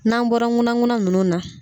N'an bɔra nkuna nkuna ninnu na